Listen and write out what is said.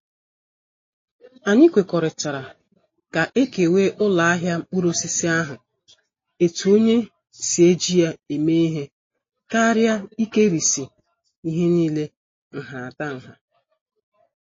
Anyị kwekọrịtara ka- ekewa uloahia mkpuruosisi ahụ etu onye si eji ya eme ihe karịa ikerisi ihe niile nhatanha